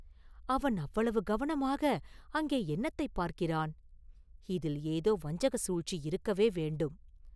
அவன் அவ்வளவு கவனமாக அங்கே என்னத்தைப் பார்க்கிறான்!… இதில் ஏதோ வஞ்சக சூழ்ச்சி இருக்கவே வேண்டும்.